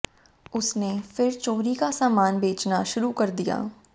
उसने फिर चोरी का सामान बेचना शुरू कर दिया